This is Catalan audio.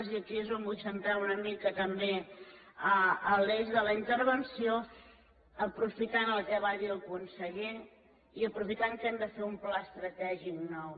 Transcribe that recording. i aquí és on vull centrar una mica també l’eix de la intervenció aprofitant el que va dir el conseller i aprofitant que hem de fer un pla estratègic nou